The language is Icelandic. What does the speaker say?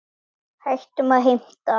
Hættum að heimta!